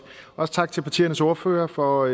også tak til partiernes ordførere for